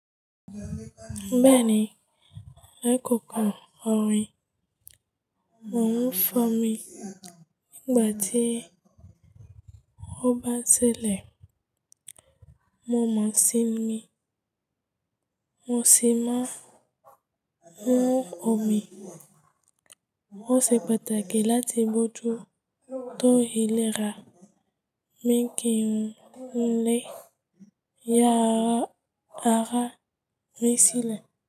Bẹ́ẹ̀ni, lẹ́ kankan, orin "Mò ń fọ́mi" nígbà tí ó bá ṣẹlẹ̀, mo máa sinmi. Mo sì máa mú omi ó ṣe pàtàkì láti móju tó ìlera ni kì ń lé eéyà ara nì sílẹ̀